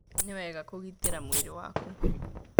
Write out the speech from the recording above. Nĩ wega Kũgĩtĩra mwĩrĩ waku.